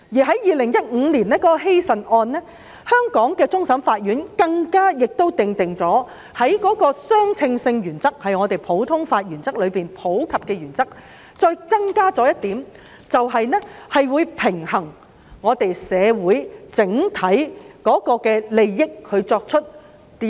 在2015年希慎一案，香港終審法院更訂定相稱原則，即在普通法的普及原則上增加一項原則，以平衡香港社會的整體利益。